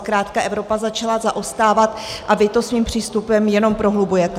Zkrátka Evropa začala zaostávat a vy to svým přístupem jenom prohlubujete.